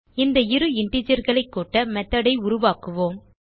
இந்த இரு integerகளைக் கூட்ட மெத்தோட் ஐ உருவாக்குவோம்